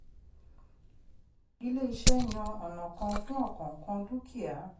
ilé-iṣẹ́ yàn ọ̀nà kan fún ọkọ̀ọ̀kan dúkìá.